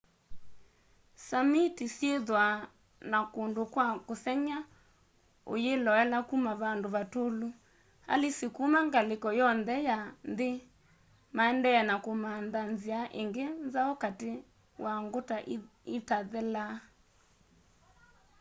samiti syithwaa na kundu kwa kusengy'a uyiloela kuma vandu vatûlu. alisi kuma ngaliko yonthe ya nthi maendee na kumantha nzia ingi nzau kati wa nguta itathelaa